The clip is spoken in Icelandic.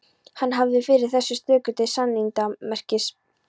Hann hafði yfir þessa stöku til sannindamerkis